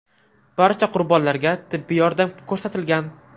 Barcha qurbonlarga tibbiy yordam ko‘rsatilgan.